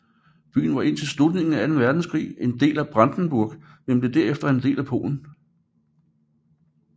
Byen var indtil slutningen af anden verdenskrig en del af Brandenburg men blev derefter en del af Polen